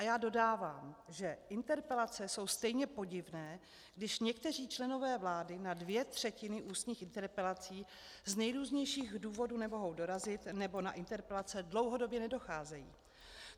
A já dodávám, že interpelace jsou stejně podivné, když někteří členové vlády na dvě třetiny ústních interpelací z nejrůznějších důvodů nemohou dorazit nebo na interpelace dlouhodobě nedocházejí.